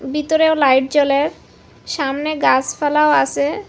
বিতরেও light জ্বলে সামনে গাসপালাও আসে।